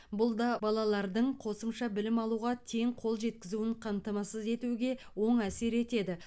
бұл да балалардың қосымша білім алуға тең қол жеткізуін қамтамасыз етуге оң әсер етеді